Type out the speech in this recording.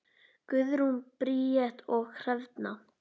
Guðrún Bríet og Hrefna.